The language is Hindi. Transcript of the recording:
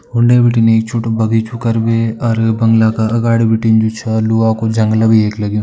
उंडे बिटिन एक छोटु बगीचु कर भी अर बंगला का अगाड़ी बिटिन जु छ लूहा का जंगला भी एक यख लग्युं।